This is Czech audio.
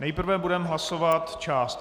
Nejprve budeme hlasovat část